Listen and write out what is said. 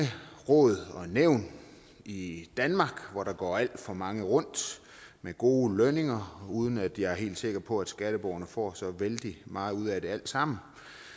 råd og nævn i danmark hvor der går alt for mange rundt med gode lønninger uden at jeg er helt sikker på at skatteborgerne får så vældig meget ud af det alt sammen